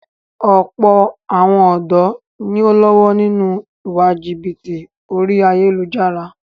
Ọ̀pọ̀ àwọn ọ̀dọ́ ni o ń lọ́wọ́ nínú ìwà jìbìtì orí ayélujára.